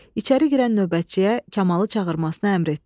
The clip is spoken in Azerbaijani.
İçəri girən növbətçiyə Kamalı çağırmasını əmr etdi.